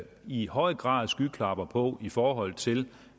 i høj grad skyklapper på i forhold til